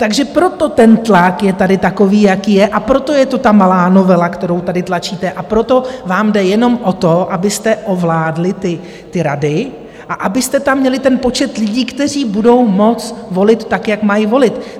Takže proto ten tlak je tady takový, jaký je, a proto je to ta malá novela, kterou tady tlačíte, a proto vám jde jenom o to, abyste ovládli ty rady a abyste tam měli ten počet lidí, kteří budou moci volit, tak jak mají volit.